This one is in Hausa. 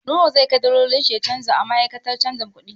Nura zai kai dalolin shi ya canja a ma'aikatar canja kuɗi.